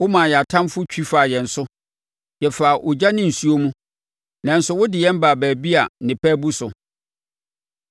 Womaa yɛn atamfoɔ twi faa yɛn so; yɛfaa ogya ne nsuo mu, nanso wode yɛn baa baabi a nnepa abu so.